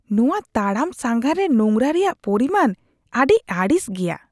ᱱᱚᱶᱟ ᱛᱟᱲᱟᱢ ᱥᱟᱸᱜᱷᱟᱨ ᱨᱮ ᱱᱳᱝᱨᱟ ᱨᱮᱭᱟᱜ ᱯᱚᱨᱤᱢᱟᱱ ᱟᱹᱰᱤ ᱟᱹᱲᱤᱥ ᱜᱮᱭᱟ ᱾